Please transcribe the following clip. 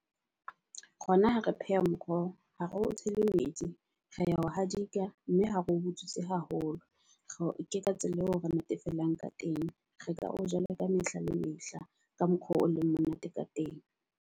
Rona ha re pheha moroho ha re o tshele metsi, re a ho hadika mme ha re o butswitse haholo. Re ka tsela eo re natefelwang ka teng. Re ka o ja le ka mehla le mehla ka mokgwa o leng monate ka teng.